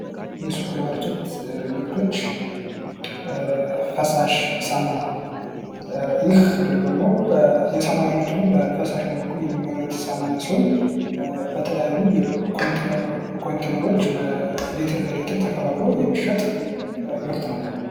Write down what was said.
የሱፐር ማርኬት ምርቶች ፈሳሽ ሳሙና ይህ ደግሞ የሳሙና አይነት ሁኖ በፈሳሽ መልኩ የሚመረት ሳሙና ሲሆን በተለያዩ ኮንቲነሮች በሌትር ተከፋፍለው የሚሸጥ ምርት ነው።